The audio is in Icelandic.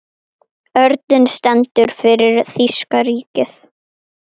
Örninn stendur fyrir þýska ríkið.